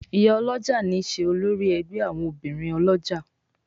Ìyá olójà ní ṣe olórí ègbé àwọn obìrin olójà.